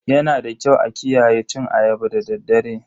Yanada kyau a kiyaye cin ayaba da daddare.